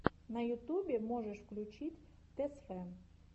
на ютубе можешь включить тэсфэн